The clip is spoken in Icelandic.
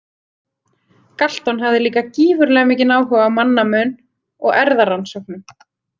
Galton hafði líka gífurlega mikinn áhuga á mannamun og erfðarannsóknum.